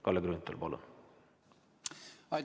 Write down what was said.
Kalle Grünthal, palun!